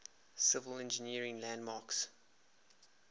civil engineering landmarks